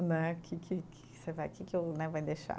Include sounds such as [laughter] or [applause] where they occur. Né que que, que que você vai, que que eu né, [unintelligible] deixar?